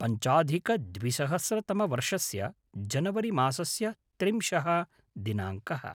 पञ्चाधिकद्विसहस्रतमवर्षस्य जनवरि मासस्य त्रिंशः दिनाङ्कः